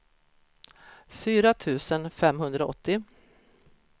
fyra tusen femhundraåttio